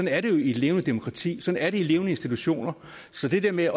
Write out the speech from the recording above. er det jo i et levende demokrati sådan er det i levende institutioner så det der med